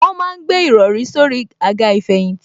Wọ́n ma ń gbé ìrọrí sórí àga ìfẹ̀yìntì